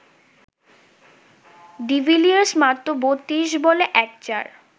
de Villiers মাত্র ৩২ বলে ১ চার